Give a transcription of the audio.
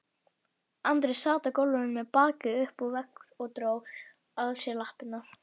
Andri sat á gólfinu með bakið upp við vegg og dró að sér lappirnar.